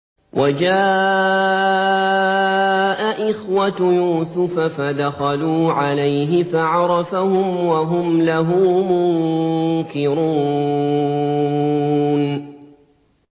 وَجَاءَ إِخْوَةُ يُوسُفَ فَدَخَلُوا عَلَيْهِ فَعَرَفَهُمْ وَهُمْ لَهُ مُنكِرُونَ